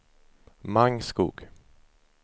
Mangskog